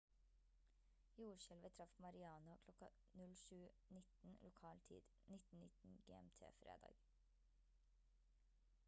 jordskjelvet traff mariana kl. 07:19 lokal tid 19:19. gmt fredag